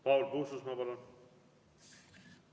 Paul Puustusmaa, palun!